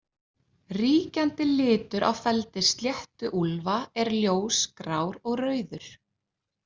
Ríkjandi litur á feldi sléttuúlfa er ljós grár og rauður.